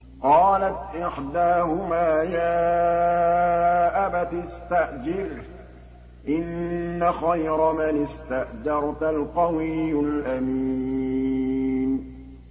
قَالَتْ إِحْدَاهُمَا يَا أَبَتِ اسْتَأْجِرْهُ ۖ إِنَّ خَيْرَ مَنِ اسْتَأْجَرْتَ الْقَوِيُّ الْأَمِينُ